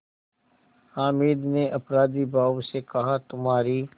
हामिद ने अपराधीभाव से कहातुम्हारी